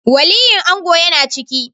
Waliyin ango ya na ciki